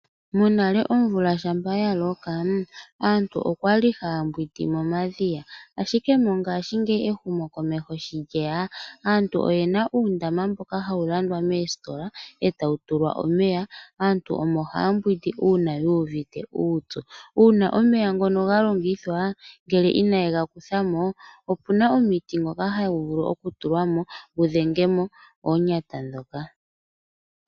Monale shampa omvula ya loka aantu okwali haya mbwindi momadhiya ashike ehumo komeho sho lyeya aantu oyena uundama mboka hawu landwa moositola etawu tulwa omeya. Aantu omo haya mbwindi uuna yuuvite uupyu, uuna omeya ngono ga longithwa ngele inaye ga kuthamo opuna omuti ngoka haya vulu okugu tula mo gu dhenge mo oonyata ndhoka.